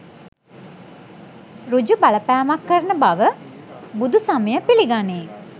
ඍජු බලපෑමක් කරන බව බුදුසමය පිළිගනී.